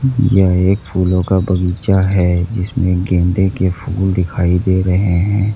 यह एक फूलों का बगीचा है जिसमें गेंदे के फूल दिखाई दे रहे हैं।